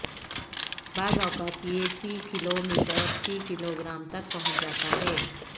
بعض اوقات یہ فی کلو میٹر فی کلوگرام تک پہنچ جاتا ہے